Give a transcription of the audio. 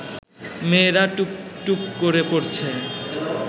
মেয়েরা টুপটুপ করে পড়ছে